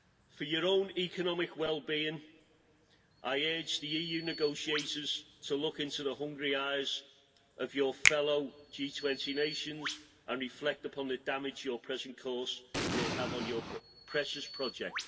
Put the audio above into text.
For your own economic wellbeing, I urge the EU negotiators to look into the hungry eyes of your fellow G20 nations and reflect upon the damage your present course will have on your precious project.